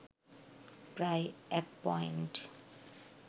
প্রায় ১ পয়েন্ট